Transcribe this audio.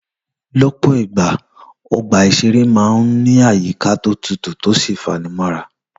Lọ́pọ̀ ìgbà, ọgbà ìṣeré máa ń ní àyíká tó tutù tó sì fanimọ́ra